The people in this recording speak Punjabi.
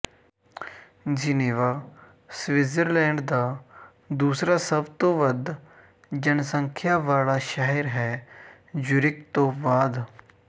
ਜਿਨੇਵਾ ਸਵਿਟਜ਼ਰਲੈਂਡ ਦਾ ਦੂਸਰਾ ਸਭ ਤੋਂ ਵੱਧ ਜਨਸੰਖਿਆ ਵਾਲਾ ਸ਼ਹਿਰ ਹੈ ਜ਼ੁਰਿਕ ਤੋਂ ਬਾਅਦ